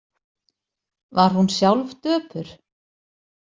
Var hún sjálf döpur?